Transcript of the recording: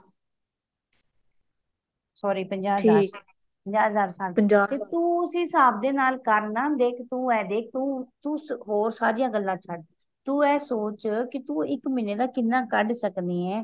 sorry ਪੰਜਾਹ ਹਜ਼ਾਰ ਪੰਜਾਹ ਹਜ਼ਾਰ ਸਾਲ ਤੇ ਤੂੰ ਉਸੇ ਹਿਸਾਬ ਦੇ ਨਾਲ ਕਰਨਾ ਦੇਖ ਤੂੰ ਇਹ ਦੇਖ ਤੂੰ ਹੋਰ ਸਾਰੀਆਂ ਗੱਲਾਂ ਛੱਡ ਤੂੰ ਇਹ ਸੋਚ ਕਿ ਤੂੰ ਇੱਕ ਮਹੀਨੇ ਦਾ ਕਿਹਨਾਂ ਕੱਢ ਸਕਦੀ ਏ